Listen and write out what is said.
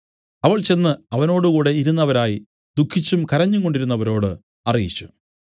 അവൾ ചെന്ന് അവനോടുകൂടെ ഇരുന്നവരായി ദുഃഖിച്ചും കരഞ്ഞുംകൊണ്ടിരുന്നവരോട് അറിയിച്ചു